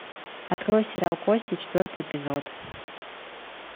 открой сериал кости четвертый эпизод